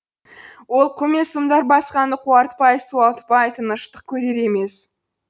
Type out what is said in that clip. ол қу мен сұмдар басқаны қуартпай суалтпай тыныштық көрер емес